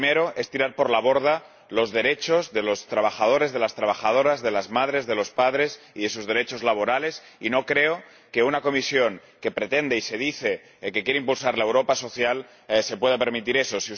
El primero es tirar por la borda los derechos de los trabajadores, de las trabajadoras, de las madres, de los padres y sus derechos laborales, y no creo que una Comisión que pretende impulsar la Europa social se pueda permitir eso.